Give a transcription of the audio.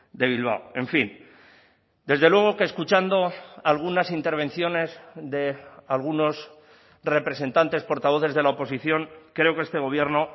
de bilbao en fin desde luego que escuchando algunas intervenciones de algunos representantes portavoces de la oposición creo que este gobierno